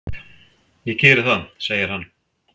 """Takk, ég geri það, segir hann."""